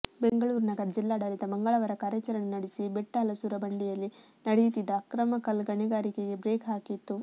ಬೆಂಗಳೂರು ನಗರ ಜಿಲ್ಲಾಡಳಿತ ಮಂಗಳವಾರ ಕಾರ್ಯಚರಣೆ ನಡೆಸಿ ಬೆಟ್ಟಹಲಸೂರು ಬಂಡೆಯಲಿ್ಲ ನಡೆಯುತಿ್ತದ್ದ ಅಕ್ರಮ ಕಲು್ಲ ಗಣಿಗಾರಿಕೆಗೆ ಬ್ರೇಕ್ ಹಾಕಿತ್ತು